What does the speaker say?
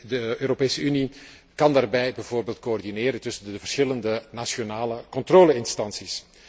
De Europese Unie kan daarbij bijvoorbeeld coördineren tussen de verschillende nationale controle instanties.